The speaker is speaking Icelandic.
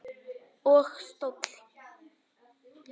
Og stól.